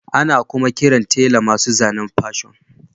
Ana kuma kiran tela masu zanen Fashion